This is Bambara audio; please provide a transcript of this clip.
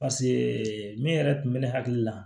paseke min yɛrɛ tun be ne hakili la